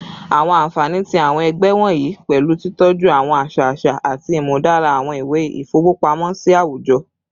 Awọn anfani ti awọn ẹgbẹ wọnyi pẹlu titọju awọn aṣa aṣa ati imudara awọn iwe ifowopamosi awujọ